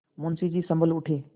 मुंशी जी सँभल उठे